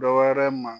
Dɔ wɛrɛ ma